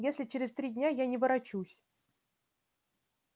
если через три дня я не ворочусь